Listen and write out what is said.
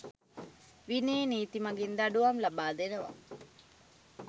විනය නීති මගින් දඩුවම් ලබා දෙනවා.